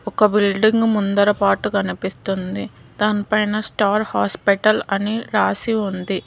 ఒక బిల్డింగ్ ముందర పార్ట్ కనిపిస్తూ ఉంది దాని పైన స్టార్ హాస్పిటల్ అని రాసి ఉంది.